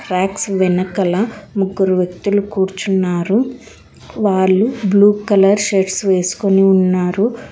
Back వెనకాల ముగ్గురు వ్యక్తులు కూర్చున్నారు వాళ్లు బ్లూ కలర్ షర్ట్స్ వేసుకొని ఉన్నారు.